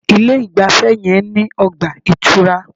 Ilé ìgbafẹ́ yẹn ní ọgbà ìtura.